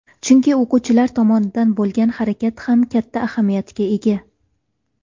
Chunki o‘quvchi tomonidan bo‘lgan harakat ham katta ahamiyatga ega.